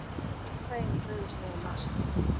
Kókaín í höfuðstöðvum NASA